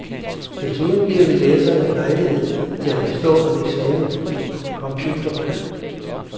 Desuden giver vi læserne lejlighed til at bestå en eksamen i computerkøb.